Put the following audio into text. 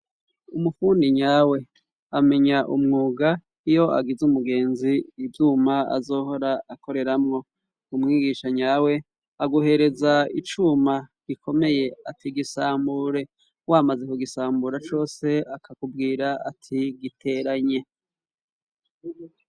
Umufundi nyawe ,amenya umwuga iyo agiz' umugenzi ivyuma azohora akoreramwo ,umwigisha nyawe aguhereza icuma gikomeye ati gisambure, wamaze kugisambura cose akakubwira ati giteranye.